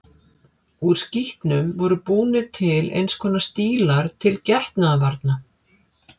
Úr skítnum voru búnir til eins konar stílar til getnaðarvarna.